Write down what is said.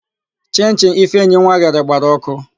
Chịnchịn Ifeinwa ghere gbara ọkụ.